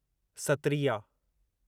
Sattriya